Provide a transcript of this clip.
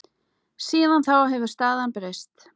Síðan þá hefur staðan breyst.